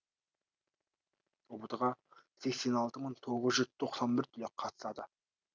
ұбт ға сексен алты мың тоғыз жүз тоқсан бір түлек қатысады